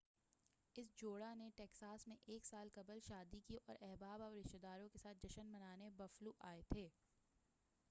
اس جوڑا نے ٹیکساس میں ایک سال قبل شادی کی اور احباب اور رشتے داروں کے ساتھ جشن منانے بفلو آئے تھے